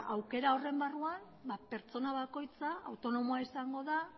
aukera horren barruan ba pertsona bakoitza autonomoa izango da